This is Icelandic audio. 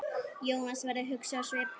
Jónas verður hugsi á svip.